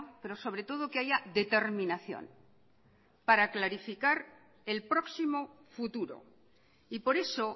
pero sobre todo que haya determinación para clarificar el próximo futuro y por eso